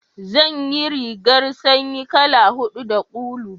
zan ya rigar sanyi kala hudu da ulu